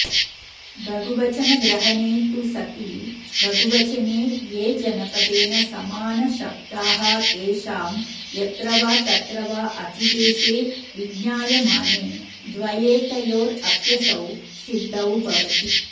बहुवचनग्रहणे तु सति बहुवचने ये जनपदेन समानशब्दास्तेषां यत्र वा तत्र वातिदेशे विज्ञायमाने द्व्येकयोरप्यसौ सिद्धो भवति